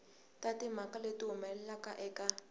na timhaka leti humelelaka eka